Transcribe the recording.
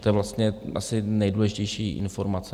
To je vlastně asi nejdůležitější informace.